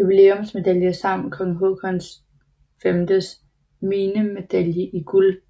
jubilæumsmedalje samt Kong Haakon VIIs minnemedalje i guld